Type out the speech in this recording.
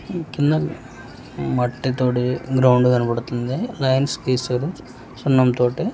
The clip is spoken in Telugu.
కింద మట్టితోటి గ్రౌండ్ కనపడుతుంది లైన్స్ గిసారు సున్నంతోటి.